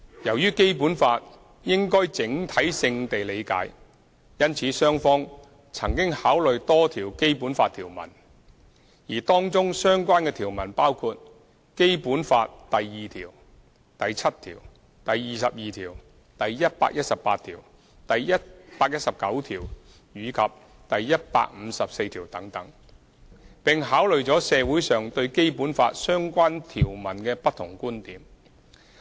由於《基本法》應整體性地理解，因此雙方曾考慮多條《基本法》條文，而當中相關的條文包括《基本法》第二條、第七條、第二十二條、第一百一十八條、第一百一十九條及第一百五十四條等，並考慮了社會上對《基本法》相關條文的不同觀點。